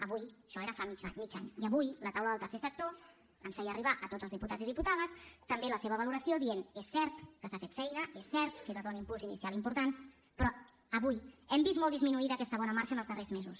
avui això era fa mig any i avui la taula del tercer sector ens feia arribar a tots els diputats i diputades també la seva valoració dient és cert que s’ha fet feina és cert que hi va haver un impuls inicial important però avui hem vist molt disminuïda aquesta bona marxa en els darrers mesos